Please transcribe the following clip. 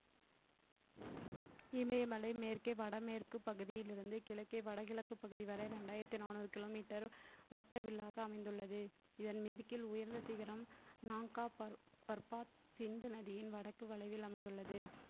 இமயமலை மேற்கே வடமேற்குப் பகுதியில் இருந்து கிழக்கே வடகிழக்குப் பகுதி வரை ரெண்டாயிரத்தி நானூறு kilometer வட்ட வில்லாக அமைந்துள்ளது இதன் மேற்கில் உயர்ந்த சிகரம் சிந்து நதியின் வடக்கு வளைவில் அமைந்துள்ளது